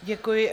Děkuji.